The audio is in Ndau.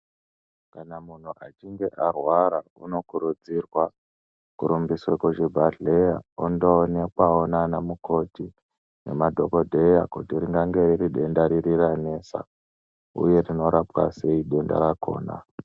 Kana munhu achinge arwara anokurudzirwa kurumbiswa kuzvibhedhlera ondoonekwawo nanamukoti nemadhokodheya kuti ringave riridenda riri ranesa uye rinorapwa sei denda rakona.